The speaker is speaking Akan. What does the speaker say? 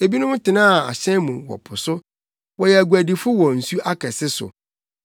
Ebinom tenaa ahyɛn mu wɔ po so; wɔyɛ aguadifo wɔ nsu akɛse so.